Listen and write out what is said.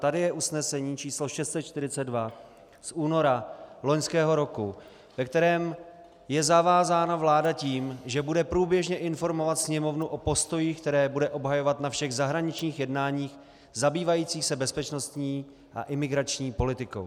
Tady je usnesení číslo 642 z února loňského roku, ve kterém je zavázána vláda tím, že bude průběžně informovat Sněmovnu o postojích, které bude obhajovat na všech zahraničních jednáních zabývajících se bezpečnostní a imigrační politikou.